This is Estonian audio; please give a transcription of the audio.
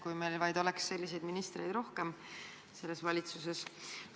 Kui meil vaid oleks valitsuses selliseid ministreid rohkem!